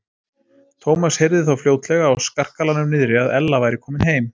Thomas heyrði þó fljótlega á skarkalanum niðri að Ella væri komin heim.